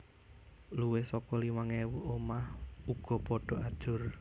Luwih saka limang ewu omah uga padha ajur